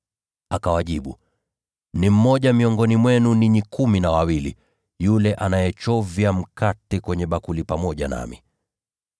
Akawajibu, “Ni mmoja miongoni mwenu ninyi kumi na wawili, yule anayechovya mkate kwenye bakuli pamoja nami.